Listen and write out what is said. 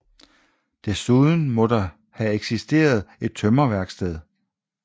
Desuden må have eksisteret et tømmerværksted